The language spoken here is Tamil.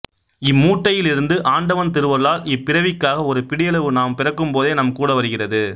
இம்மூட்டையிலிருந்து ஆண்டவன் திருவருளால் இப்பிறவிக்காக ஒரு பிடியளவு நாம் பிறக்கும்போதே நம் கூட வருகிறது